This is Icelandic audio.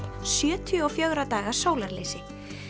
sjötíu og fjögurra daga sólarleysi